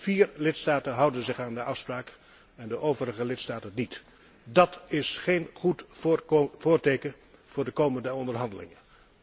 Vier lidstaten houden zich aan de afspraak en de overige lidstaten niet. Dat is geen goed voorteken voor de komende onderhandelingen.